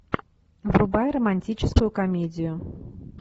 врубай романтическую комедию